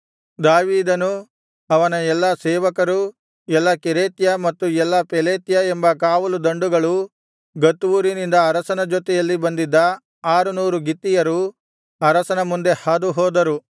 ದಾವೀದನೂ ಅವನ ಎಲ್ಲಾ ಸೇವಕರೂ ಎಲ್ಲಾ ಕೆರೇತ್ಯ ಮತ್ತು ಎಲ್ಲಾ ಪೆಲೇತ್ಯ ಎಂಬ ಕಾವಲು ದಂಡುಗಳೂ ಗತ್ ಊರಿನಿಂದ ಅರಸನ ಜೊತೆಯಲ್ಲಿ ಬಂದಿದ್ದ ಆರುನೂರು ಗಿತ್ತೀಯರೂ ಅರಸನ ಮುಂದೆ ಹಾದು ಹೋದರು